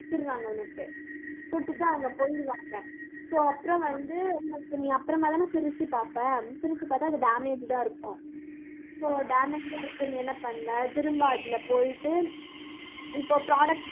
கொடுத்துடுறாங்க உனக்கு. கொடுத்துட்டு, அவங்க போயிடுவாங்க so அப்புறம் வந்து, உனக்கு நீ அப்புறமாதானே பிரிச்சு பார்ப்ப பிரிச்சு பார்த்தா அது damaged ஆ இருக்கும் so damaged ஆ இருக்கு நீ என்ன பண்ணுவ திரும்ப அதுல போயிட்டு, இப்ப product